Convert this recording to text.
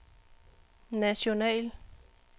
national